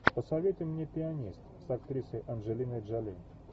посоветуй мне пианист с актрисой анджелиной джоли